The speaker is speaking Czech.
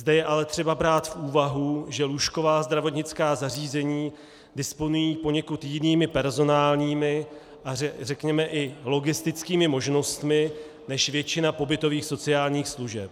Zde je ale třeba brát v úvahu, že lůžková zdravotnická zařízení disponují poněkud jinými personálními a řekněme i logistickými možnostmi než většina pobytových sociálních služeb.